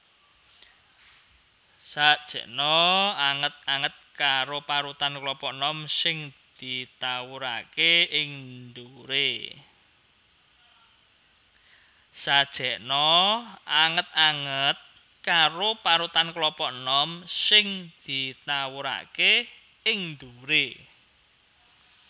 Sajèkna anget anget karo parutan klapa enom sing ditawuraké ing ndhuwuré